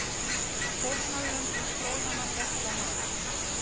Fórnarlömb flóðanna betla mat